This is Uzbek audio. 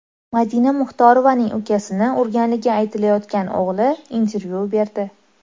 Madina Muxtorovaning ukasini urganligi aytilayotgan o‘g‘li intervyu berdi .